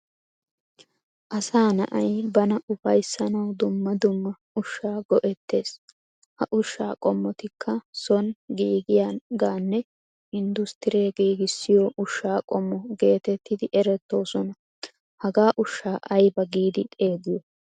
Asaa na"ay bana ufayssanawu dumma dumma ushsha go"eetees. Ha ushsha qommottika ssoni giigiyagane industuree giigisiyo ushsha qommo geetettidi eretoosona. Hagaa ushsha ayba giidi xeegiyo?